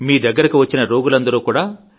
మీ దగ్గురకు వచ్చిన రోగులందరూ కూడా